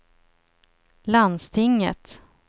landstinget